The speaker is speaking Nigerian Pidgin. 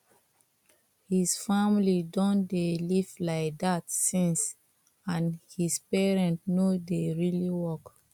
his family don dey live like that since and his parent no dey really work